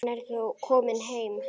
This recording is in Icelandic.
Hann er þó kominn heim.